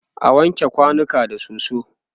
ana wanke kwanuka da soso